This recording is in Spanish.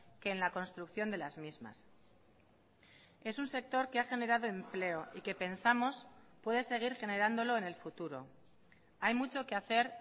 que en la construcción de las mismas es un sector que ha generado empleo y que pensamos puede seguir generándolo en el futuro hay mucho que hacer